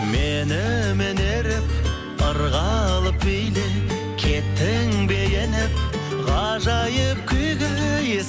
менімен еріп ырғалып биле кеттің бе еніп ғажайып күйге ей